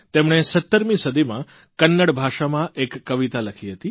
તેમણે 17મી સદીમાં કન્નડ ભાષામાં એક કવિતા લખી હતી